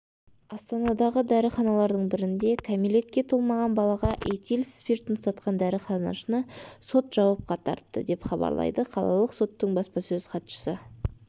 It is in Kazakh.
астанадағы дәріханалардың бірінде кәмелетке толмаған балаға этил спиртін сатқан дәріханашыны сот жауапқа тартты деп хабарлайды қалалық соттың баспасөз хатшысы